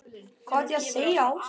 Hvað átti ég að segja Áslaugu?